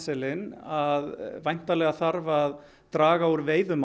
að væntanlega þarf að draga úr veiðum